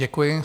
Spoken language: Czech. Děkuji.